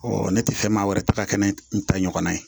ne tɛ fɛn maa wɛrɛ ta ka kɛ ni n ta ɲɔgɔnna ye